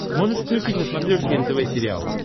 можешь включить на смотрешке нтв сериал